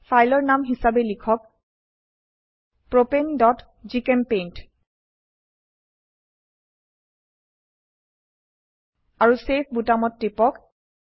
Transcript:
ফাইলৰ নাম হিসাবে লিখক propaneজিচেম্পেইণ্ট আৰু চেভ বোতামত টিপক